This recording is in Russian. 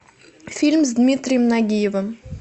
фильм с дмитрием нагиевым